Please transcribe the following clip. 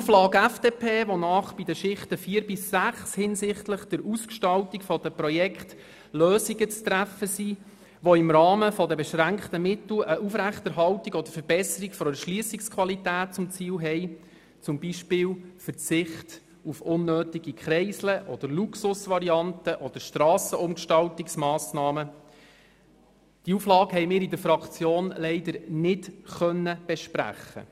Die Auflage FDP, wonach bei den Schichten 4 bis 6 hinsichtlich der Ausgestaltung der Projekte Lösungen zu treffen sind, die im Rahmen der beschränkten Mittel eine Aufrechterhaltung oder Verbesserung der Erschliessungsqualität zum Ziel haben – zum Beispiel den Verzicht auf unnötige Kreisel, Luxusvarianten oder Strassenumgestaltungsmassnahmen –, konnten wir in der Fraktion leider nicht besprechen.